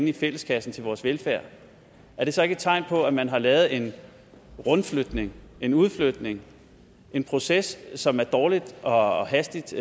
i fælleskassen til vores velfærd er det så ikke et tegn på at man har lavet en rundflytning en udflytning en proces som er dårligt og hastigt